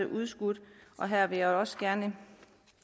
udskudt og her vil jeg også gerne